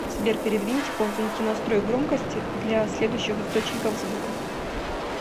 сбер передвиньте ползунки настроек громкости для следующих источников звука